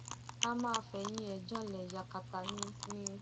a máa fẹyìn ẹ̀ janlẹ yakata ni ni